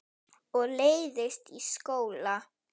Og leiðist í skóla.